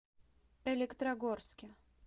электрогорске